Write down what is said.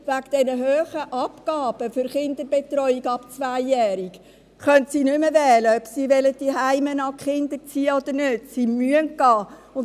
Wegen der hohen Abgaben für die Betreuung der Kinder ab zwei Jahren können sie nicht mehr wählen, ob sie ihre Kinder zuhause erziehen wollen oder nicht: Sie müssen gehen.